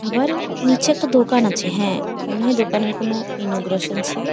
আবার নিচে একটা দোকান আছে | হ্যাঁ মনে হয়ে দোকানের কোনো ইনোগ্রাশন ছিল ।